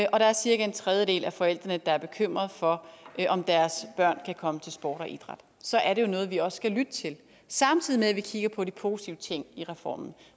og der er cirka en tredjedel af forældrene der er bekymrede for om deres børn kan komme til sport og idræt så er det jo noget vi også skal lytte til samtidig med at vi kigger på de positive ting i reformen